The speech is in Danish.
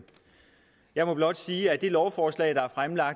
jeg må blot sige at det lovforslag der